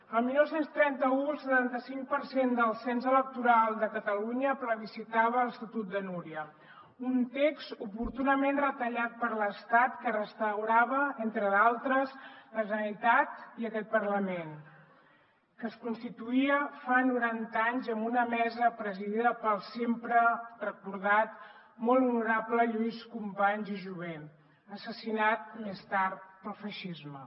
el dinou trenta u el setanta cinc per cent del cens electoral de catalunya plebiscitava l’estatut de núria un text oportunament retallat per l’estat que restaurava entre d’altres la generalitat i aquest parlament que es constituïa fa noranta anys amb una mesa presidida pel sempre recordat molt honorable lluís companys i jover assassinat més tard pel feixisme